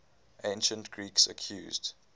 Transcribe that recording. ancient greeks accused